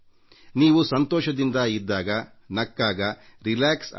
ನೀವು ಸಂತೋಷದಿಂದ ಇದ್ದಾಗ ನಗುತ್ತಾ ಇದ್ದಾಗ ನಿರುಮ್ಮಳವಾಗಿರುತ್ತೀರಿ